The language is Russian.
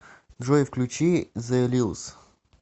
джой включи зе лилс